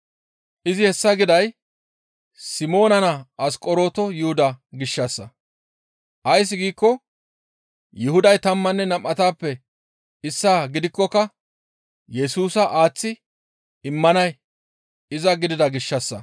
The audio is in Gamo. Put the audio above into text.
Izi hessa giday Simoona naa Asqoronto Yuhuda gishshassa. Ays giikko Yuhuday tammanne nam7atappe issaa gidikkoka Yesusa aaththi immanay iza gidida gishshassa.